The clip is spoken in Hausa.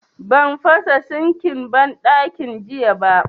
Ban fasa sinkin banɗakin jiya ba